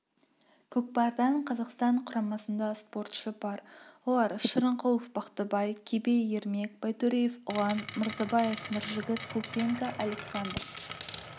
көкпардан қазақстан құрамасында спортшы бар олар шырынкулов бақтыбай көбей ермек байтөреев ұлан мырзабаев нұржігіт пупенко александр